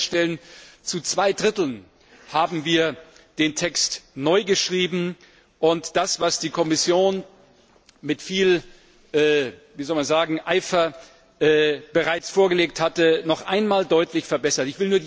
Sie werden feststellen, zu zwei Dritteln haben wir den Text neu geschrieben, und das, was die Kommission mit viel Eifer bereits vorgelegt hatte, noch einmal deutlich verbessert.